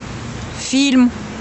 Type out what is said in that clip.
фильм